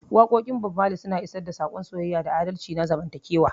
Waƙoƙin Bob Mali suna isar da saƙon soyayya da adalci na zamantakewa.